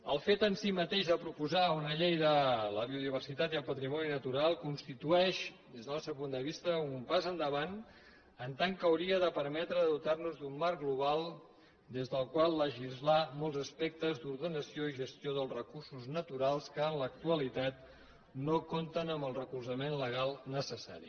el fet en si mateix de proposar una llei de la biodiversitat i el patrimoni natural constitueix des del nostre punt de vista un pas endavant en tant que hauria de permetre de dotar nos d’un marc global des del qual legislar molts aspectes d’ordenació i gestió dels recursos naturals que en l’actualitat no compten amb el recolzament legal necessari